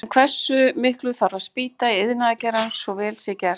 En hversu miklu þarf að spýta í ferðaiðnaðinn svo vel sé gert?